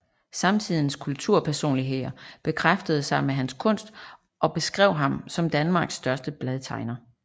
Samtidens kulturpersonligheder beskæftigede sig med hans kunst og beskrev ham som Danmarks største bladtegner